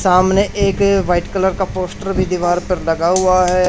सामने एक white colour का पोस्टर भी दीवार पर लगा हुआ है।